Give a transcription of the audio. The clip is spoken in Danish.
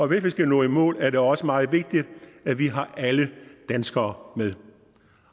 vi skal nå i mål er det også meget vigtigt at vi har alle danskere med